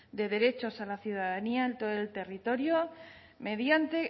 de derechos a la ciudadanía en todo el territorio mediante